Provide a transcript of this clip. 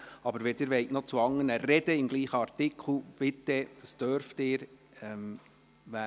Wenn Sie aber zu anderen Anträgen betreffend denselben Artikel sprechen möchten, so dürfen Sie das.